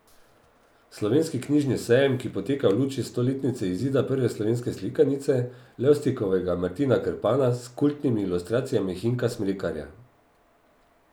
Slovenski knjižni sejem, ki poteka v luči stoletnice izida prve slovenske slikanice, Levstikovega Martina Krpana s kultnimi ilustracijami Hinka Smrekarja.